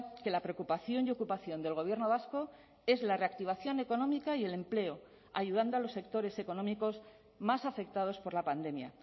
que la preocupación y ocupación del gobierno vasco es la reactivación económica y el empleo ayudando a los sectores económicos más afectados por la pandemia